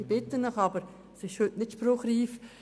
Heute ist das nicht spruchreif.